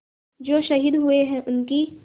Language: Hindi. जो शहीद हुए हैं उनकी